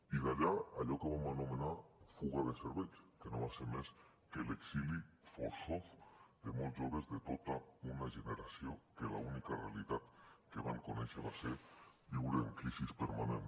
i d’allà allò que vam anomenar fuga de cervells que no va ser més que l’exili forçós de molts joves de tota una generació que l’única realitat que van conèixer va ser viure en crisi permanent